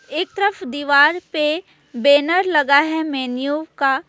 एक तरफ दीवार पे बैनर लगा है मैन्यू का।